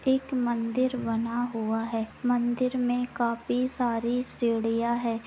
एक मंदिर बना हुआ है मंदिर में काफी सारी सीढ़ियां हैं।